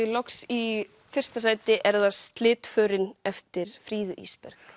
loks í fyrsta sæti er það eftir Fríðu Ísberg